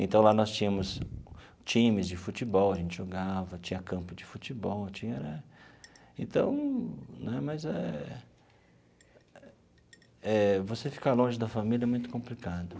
Então lá nós tínhamos times de futebol, a gente jogava, tinha campo de futebol, tinha era... Então, né, mas é eh... Você ficar longe da família é muito complicado.